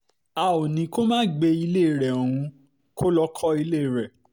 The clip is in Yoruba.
a ò ní kó má gbé ilé rẹ òun lọ kọ́ ilé rẹ